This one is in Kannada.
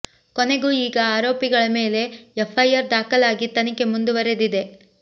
ಕೊನೆಗೂ ಈಗ ಆರೋಪಿಗಳ ಮೇಲೆ ಎಫ್ ಐಆರ್ ದಾಖಲಾಗಿ ತನಿಖೆ ಮುಂದುವರೆದಿದೆ